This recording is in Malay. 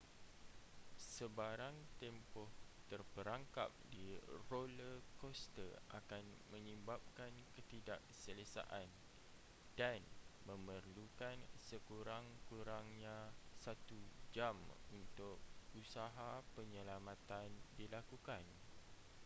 sebarang tempoh terperangkap di roller coaster akan menyebabkan ketidakselesaan dan memerlukan sekurang-kurangnya satu jam untuk usaha penyelamatan dilakukan